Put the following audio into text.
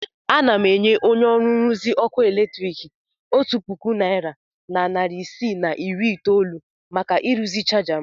Ana m enye onye nruzi ọkụ eletrik otu puku naịra na narị isii na iri itoolu maka ịrụzi chaja m.